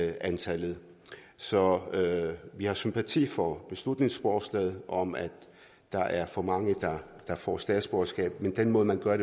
antallet så vi har sympati for beslutningsforslaget om at der er for mange der får statsborgerskab men den måde man gør